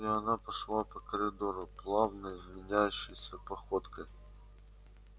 и она пошла по коридору плавной манящей походкой